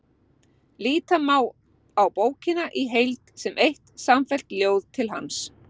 Líta má á bókina í heild sem eitt samfellt ljóð til hans.